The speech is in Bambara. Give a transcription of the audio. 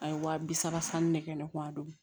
A ye wa bi saba sanni ne kɛ ne kun y'a dɔn